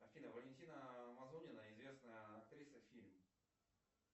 афина валентина мазонина известная актриса фильм